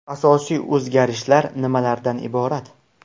Asosiy o‘zgarishlar nimalardan iborat?